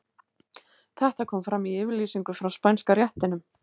Þetta kom fram í yfirlýsingu frá Spænska réttinum.